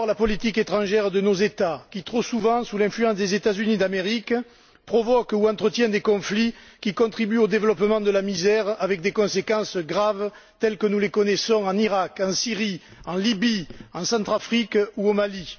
D'abord, la politique étrangère de nos États, trop souvent sous l'influence des États Unis d'Amérique, provoque ou entretient des conflits qui contribuent au développement de la misère avec des conséquences graves, telles que nous les connaissons en Iraq, en Syrie, en Libye, en Centrafrique ou au Mali.